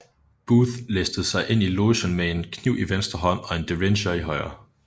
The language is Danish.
Booth listede sig ind i logen med en kniv i venstre hånd og en Derringer i højre